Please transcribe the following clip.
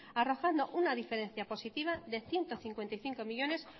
arrojando una diferencia positiva de ciento cincuenta y cinco millónes